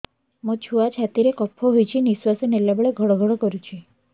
ମୋ ଛୁଆ ଛାତି ରେ କଫ ହୋଇଛି ନିଶ୍ୱାସ ନେଲା ବେଳେ ଘଡ ଘଡ କରୁଛି